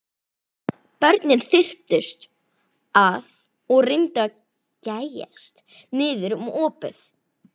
Börnin þyrptust að og reyndu að gægjast niður um opið.